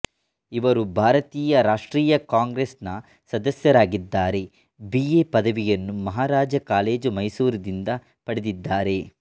ಇವರು ಭಾರತೀಯ ರಾಷ್ಟ್ರೀಯ ಕಾಂಗ್ರೆಸ್ ನ ಸದಸ್ಯರಾಗಿದ್ದರೆ ಬಿ ಎ ಪದವಿಯನ್ನು ಮಹಾರಾಜ ಕಾಲೇಜು ಮೈಸೂರುದಿಂದ ಪಡೆದಿದ್ದಾರೆ